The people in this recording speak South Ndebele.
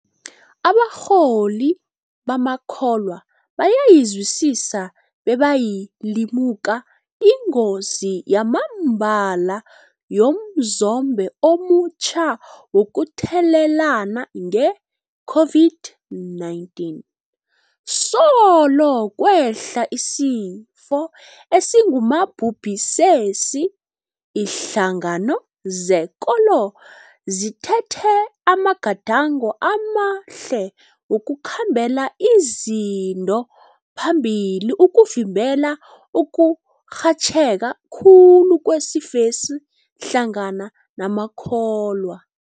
Abarholi bamakholwa bayayizwisisa bebayayilimuka ingozi yamambala yomzombe omutjha wokuthelelana nge-COVID-19. Solo kwehla isifo esingumabhubhisesi, iinhlangano zekolo zithethe amagadango amahle wokukhambela izinto phambili ukuvimbela ukurhatjheka khulu kwesifesi hlangana namakholwa.